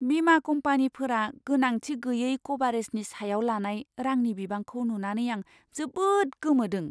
बिमा कम्पानिफोरा गोनांथि गैयै क'भारेजनि सायाव लानाय रांनि बिबांखौ नुनानै आं जोबोद गोमोदों!